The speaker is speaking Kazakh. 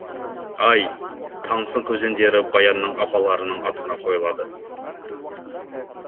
ай таңсық өзендері баянның апаларының атына қойылады